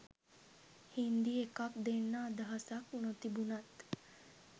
හින්දි එකක් දෙන්න අදහසක් නොතිබුණත්